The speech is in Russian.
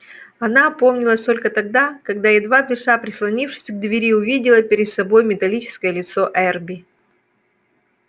она опомнилась только тогда когда едва дыша прислонившись к двери увидела перед собой металлическое лицо эрби